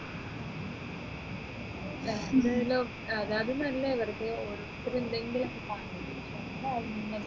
അതാണ് നല്ല വെറുതെ ഓരോരുത്തരും ഉണ്ടെങ്കിലും ഇങ്ങനെ